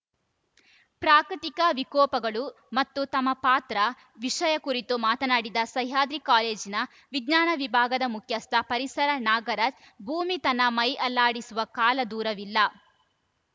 ಪ್ರಾಕೃತಿಕ ವಿಕೋಪಗಳು ಮತ್ತು ತಮ್ಮ ಪಾತ್ರ ವಿಷಯ ಕುರಿತು ಮಾತಾನಾಡಿದ ಸಹ್ಯಾದ್ರಿ ಕಾಲೇಜಿನ ವಿಜ್ಞಾನ ವಿಭಾಗದ ಮುಖ್ಯಸ್ಥ ಪರಿಸರ ನಾಗರಾಜ್‌ ಭೂಮಿ ತನ್ನ ಮೈ ಅಲ್ಲಾಡಿಸುವ ಕಾಲ ದೂರವಿಲ್ಲ